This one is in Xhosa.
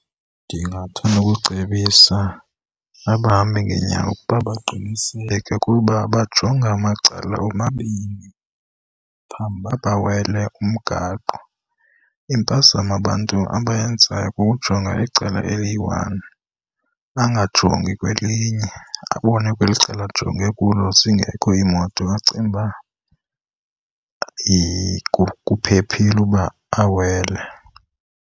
Ndingathanda ukucebisa abahambi ngeenyawo ukuba baqiniseke ukuba bajonga macala omabini phambi uba babawele umgaqo. Impazamo abantu abeyenzayo kukujonga icala eliyi-one bangajongi kwelinye, abone kweli cala ajonge kulo zingekho iimoto acinge uba kuphephile uba awele.